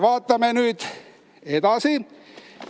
Vaatame nüüd edasi!